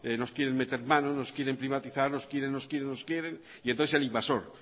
nos quieren mete mano nos quieren privatizar nos quieren nos quieren nos quieren y entonces el invasor